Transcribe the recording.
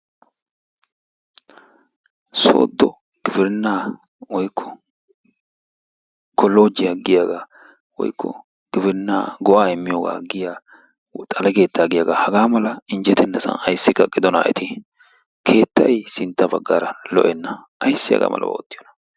Sooddo gibirinnaa woykko kolloojjiya giyagaa woykko gibirinnaa go"aa immiyooga giya xale keettaa giyagaa hagaa mala injjetennasan ayssi kaqqidonaa eti keettayi sintta baggaara lo"enna ayssi hagaa malabaa oottiyona.